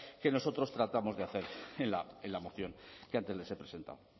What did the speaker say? que nosotros tratamos de hacer en la moción que antes les he presentado